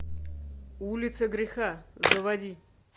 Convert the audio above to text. улица греха заводи